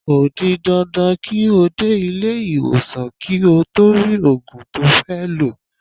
Ko di dandan ki o de ile-iwosan ki o to ri ogun to fe lo.